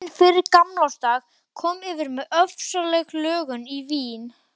Daginn fyrir gamlársdag kom yfir mig ofsaleg löngun í vín.